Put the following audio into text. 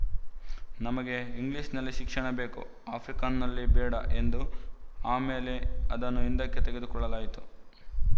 ನಮಗೆ ಇಂಗ್ಲಿಶ‍ನಲ್ಲಿ ಶಿಕ್ಷಣ ಬೇಕು ಆಫ್ರಿಕಾನ್‍ನಲ್ಲಿ ಬೇಡ ಎಂದು ಆಮೇಲೆ ಅದನ್ನು ಹಿಂದಕ್ಕೆ ತೆಗೆದುಕೊಳ್ಳಲಾಯಿತು